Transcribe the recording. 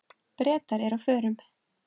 Bretar eru á förum.